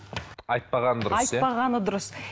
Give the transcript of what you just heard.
айтпаған дұрыс иә айтпағаны дұрыс